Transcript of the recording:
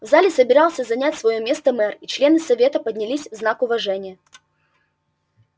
в зале собирался занять своё место мэр и члены совета поднялись в знак уважения